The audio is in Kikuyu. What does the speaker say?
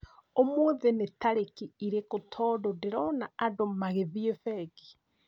Ũmũthĩ nĩ tarĩki irĩkũ tondũ ndĩrona andũ magĩthiĩ bengi?